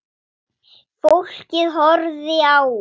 Fólkið horfði á hann.